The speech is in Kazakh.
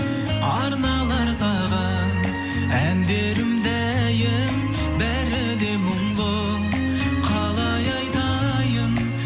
арналар саған әндерім дәйім бәріңе мұңды қалай айтайын